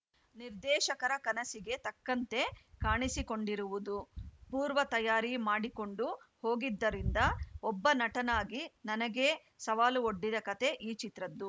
ನಿರ್ದೇಶಕರ ಕನಸಿಗೆ ತಕ್ಕಂತೆ ಕಾಣಿಸಿಕೊಂಡಿರುವುದು ಪೂರ್ವ ತಯಾರಿ ಮಾಡಿಕೊಂಡು ಹೋಗಿದ್ದರಿಂದ ಒಬ್ಬ ನಟನಾಗಿ ನನಗೇ ಸವಾಲು ಒಡ್ಡಿದ ಕತೆ ಈ ಚಿತ್ರದ್ದು